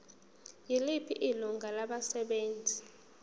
yiliphi ilungu labasebenzi